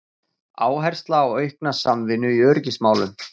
Áhersla á aukna samvinnu í öryggismálum